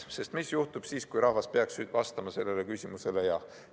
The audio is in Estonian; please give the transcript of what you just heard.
Sest mis juhtub siis, kui rahvas peaks vastama sellele küsimusele jah?